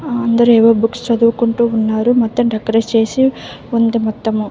అందరూ ఏవో బుక్స్ చదువుకుంటూ ఉన్నారు. మొత్తం డెకరేట్ చేసి ఉంది మొత్తము.